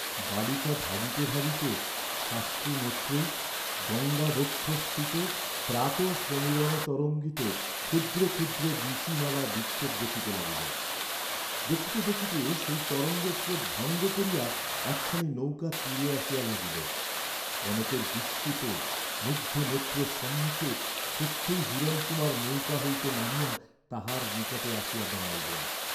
বালিকা ভাবিতে ভাবিতে সাশ্রুনেত্রে, গঙ্গাবক্ষঃস্থিত প্রাতঃসমীরণতরঙ্গিত ক্ষুদ্র ক্ষুদ্র বীচিমালা বিক্ষেপ দেখিতে লাগিল; দেখিতে দেখিতে সেই তরঙ্গস্রোত ভঙ্গ করিয়া একখানি নৌকা তীরে আসিয়া লাগিল, কনকের বিস্মিত, মুগ্ধ নেত্রের সম্মুখে সত্যই হিরণকুমার নৌকা হইতে নামিয়া তাহার নিকটে আসিয়া দাঁড়াইলেন।